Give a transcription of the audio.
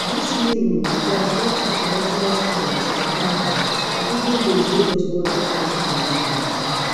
dis new rules go affect international students for canada and even dose wey just wan apply for di new year